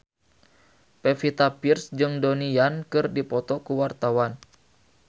Pevita Pearce jeung Donnie Yan keur dipoto ku wartawan